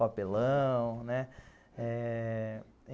papelão, né? eh...